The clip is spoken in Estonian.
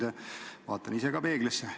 Ja ma vaatan ise ka peeglisse.